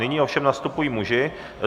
Nyní ovšem nastupují muži.